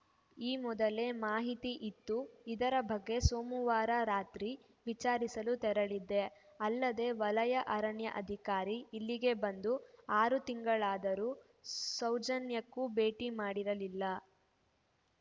ಈ ಮೊದಲೇ ಮಾಹಿತಿ ಇತ್ತು ಇದರ ಬಗ್ಗೆ ಸೋಮವಾರ ರಾತ್ರಿ ವಿಚಾರಿಸಲು ತೆರಳಿದ್ದೆ ಅಲ್ಲದೆ ವಲಯ ಅರಣ್ಯ ಅಧಿಕಾರಿ ಇಲ್ಲಿಗೆ ಬಂದು ಆರು ತಿಂಗಳಾದರೂ ಸೌಜನ್ಯಕ್ಕೂ ಭೇಟಿ ಮಾಡಿರಲಿಲ್ಲ